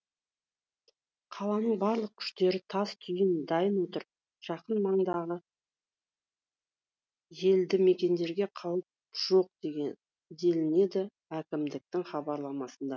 қаланың барлық күштері тас түйін дайын отыр жақын маңдағы елдімекендерге қауіп жоқ делінеді әкімдіктің хабарламасында